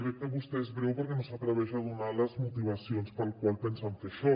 veig que vostè és breu perquè no s’atreveix a donar les motivacions per les quals pensen fer això